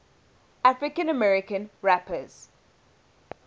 african american rappers